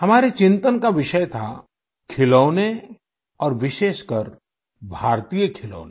हमारे चिंतन का विषय था खिलौने और विशेषकर भारतीय खिलौने